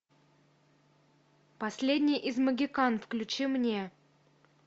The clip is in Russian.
последний из могикан включи мне